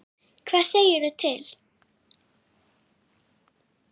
Hvað segirðu til?